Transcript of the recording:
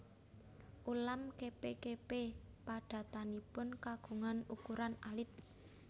Ulam kepe kepe padatanipun kagungan ukuran alit